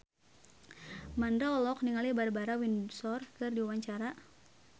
Mandra olohok ningali Barbara Windsor keur diwawancara